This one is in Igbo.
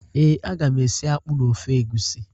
Ee, aga m esi akpụ na ofe egwusi